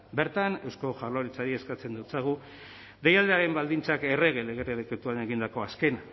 bertan eusko jaurlaritzari eskatzen dotsagu deialdiaren baldintzak errege lege dekretuaren egindako azken